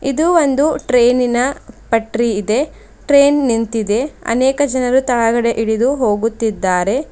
ಇದು ಒಂದು ಟ್ರೈನಿನ ಪತ್ರಿ ಇದೆ ನಿಂತಿದೆ ಅನೇಕ ಜನರು ಕೆಳಗಡೆ ಇಳಿದು ಹೋಗುತ್ತಿದ್ದಾರೆ.